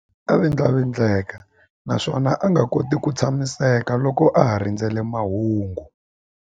A vindlavindleka naswona a nga koti ku tshamiseka loko a ha rindzerile mahungu.